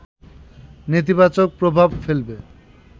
নেতিবাচক প্রভাব ফেলবে